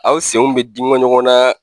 Aw senw be digɔn ɲɔgɔnaa